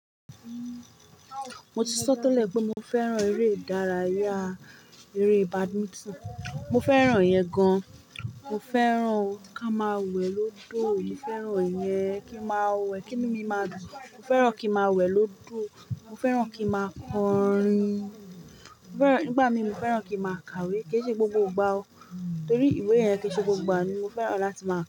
Mo ti sọ tẹ́lẹ̀ pé mo fẹ́ran eré ìdárayá, eré badminton. Mo fẹ́ràn yẹn gan-an, mo fẹ́ràn kí a máa wẹ̀ lódò, mo fẹ́ràn ìyẹn kí n máa wẹ̀, kí inu mí máa dùn. Mo fẹ́ràn kí n máa wẹ̀ lódò, mo fẹ́ràn kí n máa kọrin, mo fẹ́ràn, nígbà mí mo fẹ́ràn kí n máa kàwé, kì í ṣe gbogbo ìgbà o. Nítorí ìwé yẹn kì í ṣe gbogbo ìgbà, ni mo fẹ́ràn láti máa.